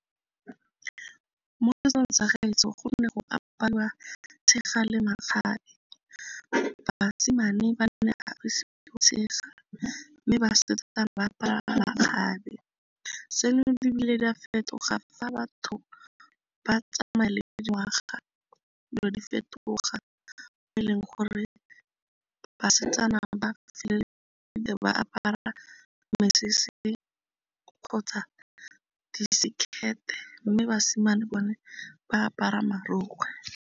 Mo setsong sa gaetsho gone go aparwa tshega le makgabe. Basimane ba mme basetsana ba apara makgabe. Seno di bile di a fetoga fa batho ba tsamaya le dingwaga, dilo di fetoga e leng gore ba basetsana ba feleletsa ba apara mesese kgotsa di-skirt mme basimane bone ba apara marokgwe.